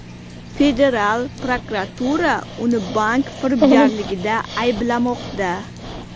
Federal prokuratura uni bank firibgarligida ayblamoqda.